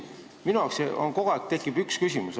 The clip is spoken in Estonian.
Minul tekib kogu aeg ainult üks küsimus.